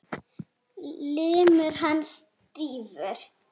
Limur hans stífur.